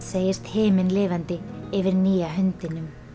segist himinlifandi yfir nýja hundinum